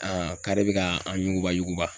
k'ale bɛ ka an ɲuguba yuguba.